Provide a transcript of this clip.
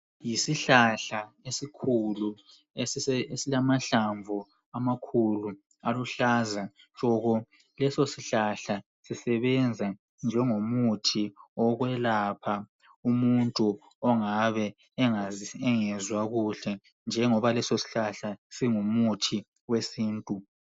Yisihlahla esikhulu esilamahlamvu amakhulu aluhlaza tshoko .Leso sihlahla sisebenza njengomuthi wokwelapha umuntu ongabe engezwa kuhle njengoba leso sihlahla singumuthi wesintu .